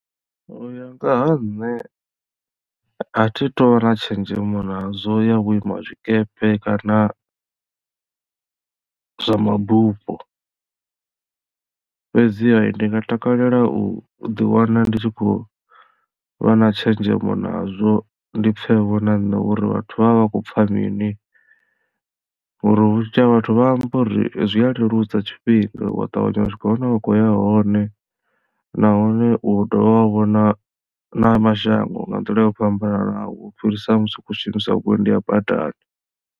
Uya ngaha nṋe a thi tu vha na tshenzhemo nazwo ya vhu ima zwikepe kana zwa mabufho fhedziha ndi nga takalela u ḓi wana ndi tshi khou vha na tshenzhemo nazwo ndi pfhe vho na nṋe uri vhathu vha vha vha khou pfha mini ngori vhunzhi ha vhathu vha amba uri zwi a leludza tshifhinga wa ṱavhanya u swika hune wa khoya hone nahone u dovha wa vhona na mashango nga nḓila yo fhambananaho u fhirisa musi u khou zwishumisa vhuendi ha badani.